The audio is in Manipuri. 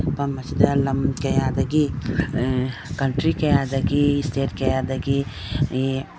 ꯃꯐꯝ ꯑꯁꯤꯗ ꯂꯝ ꯀꯌꯥꯗꯒꯤ ꯑꯥ ꯀꯟꯇꯔꯤ ꯀꯌꯥꯗꯒꯤ ꯁꯇꯦꯠ ꯀꯌꯥꯗꯒꯤ ꯑꯦ --